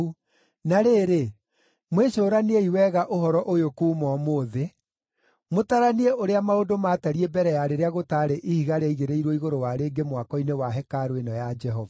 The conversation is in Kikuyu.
“ ‘Na rĩrĩ, mwĩcũraniei wega ũhoro ũyũ kuuma ũmũthĩ, mũtaranie ũrĩa maũndũ maatariĩ mbere ya rĩrĩa gũtaarĩ ihiga rĩaigĩrĩirwo igũrũ wa rĩngĩ mwako-inĩ wa hekarũ ĩno ya Jehova.